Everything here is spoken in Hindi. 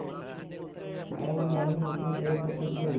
और न ही उसे बेच सकते थे